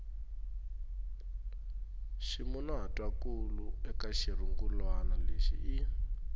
ximunhuhatwankulu eka xirungulwana lexi i